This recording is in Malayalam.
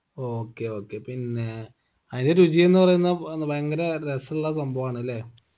okay okay പിന്നേ അയിന്റെ രുചി എന്ന് പറയുന്ന ഭയങ്കര രസുള്ള സംഭവാണ് ലേ